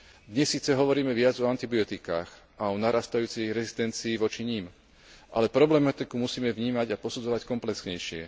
Dnes síce hovoríme viac o antibiotikách a o narastajúcej rezistencii voči nim, ale problematiku musíme vnímať a posudzovať komplexnejšie.